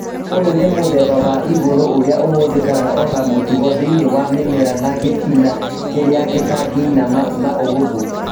ũyũ nĩ mũthemba wa igũrũ ũrĩa ũhũthĩkaga ota mũtugo thĩinĩ wa mĩmera na gĩtina kĩrĩa gĩtangĩinama na ũhũthũ